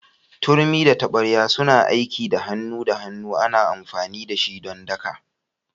Turmi da tabarya suna aiki da hannu da hannu ana amfani da shi don daka.